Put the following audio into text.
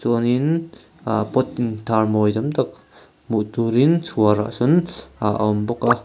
chuanin pot intar mawi hmuh turin chhuarah sawn a awm bawk a.